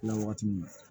Kila wagati min na